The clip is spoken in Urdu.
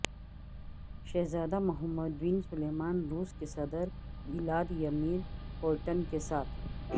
شہزادہ محمد بن سلمان روس کے صدر ولادیمیر پیوٹن کے ساتھ